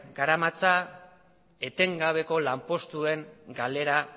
garamatza etengabeko lanpostuen galera